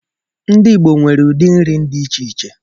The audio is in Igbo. Ndị Igbo nwere ụdị nri dị iche iche.